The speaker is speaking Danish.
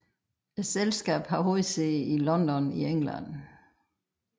Selskabet har hovedsæde i London i England